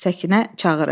Səkinə çağırır.